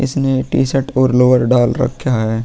इसने T shirt lower लोअर डाल रखा है।